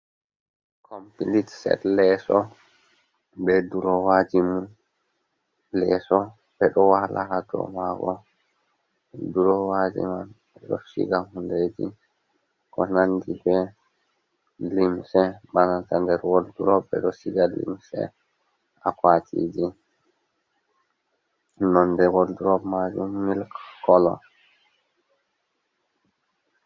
Complete set leeso be durowaji mum, leeso ɓe ɗo waala ha dau maa'ngo, durowaji man ɓe ɗo shiga hundeji ko nandi be limse. Ba nanta nder wardrop ɓe ɗo shiga limse, akwatiji. nonde wardrop majum milk kolo.